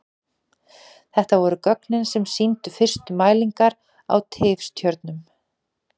Þetta voru gögnin sem sýndu fyrstu mælingar á tifstjörnum.